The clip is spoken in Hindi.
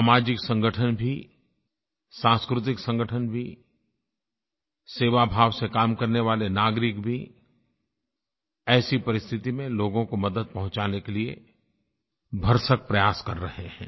सामाजिक संगठन भी सांस्कृतिक संगठन भी सेवाभाव से काम करने वाले नागरिक भी ऐसी परिस्थिति में लोगों को मदद पहुँचाने के लिए भरसक प्रयास कर रहे हैं